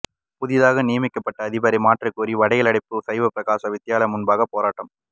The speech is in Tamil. புதிதாக நியமிக்கப்பட்ட அதிபரை மாற்றக்கோரி வடலியடைப்பு சைவப்பிரகாச வித்தியாலயம் முன்பாக போராட்டம்